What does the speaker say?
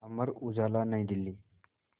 Amar Ujala New Delhi